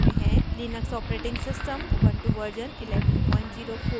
और netbeans ide version 711